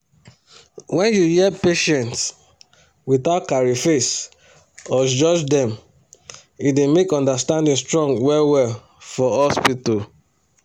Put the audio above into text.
when you hear patients without carry face or judge dem e dey make understanding strong well well for hospital.